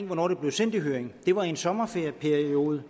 hvornår det blev sendt i høring det var i en sommerferieperiode